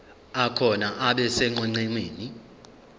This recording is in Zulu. akhona abe sonqenqemeni